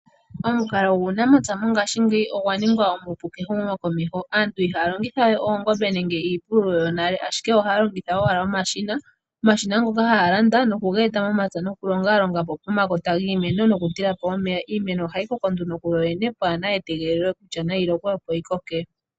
Omukalo guunamapya mongashingeyi ogwa ningwa omupu kehumo komeho. Aantu ihaa longithawe oongombe nenge iipululo yonale , ashike ohaa longitha owala omashina. Omashina ngoka ohaga landwa nohaga etwa momapya opo galonge pomakota giimeno, okutekela. Iimeno ohayi koko kuyoyene pwaana etegelo lyomvula.